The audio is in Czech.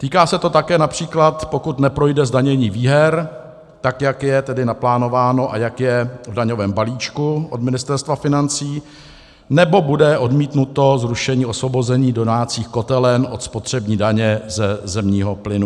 Týká se to také například, pokud neprojde zdanění výher, tak jak je tedy naplánováno a jak je v daňovém balíčku od Ministerstva financí, nebo bude odmítnuto zrušení osvobození domácích kotelen od spotřební daně ze zemního plynu.